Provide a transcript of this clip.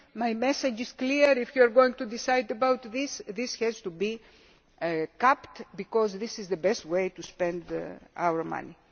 My message is clear if you are going to decide about this, it has to be capped, because this is the best way to spend our